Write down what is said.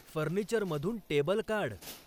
फर्निचरमधून table काढ.